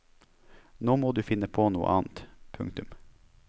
Nå må du finne på noe annet. punktum